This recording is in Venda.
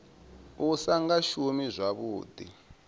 u sa nga shumi zwavhuḓi